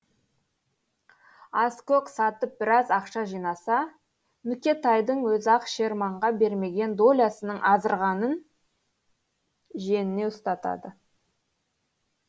аскөк сатып біраз ақша жинаса нүкетайдың өзі ақ шерманға бермеген долясының азырағын жиеніне ұстатады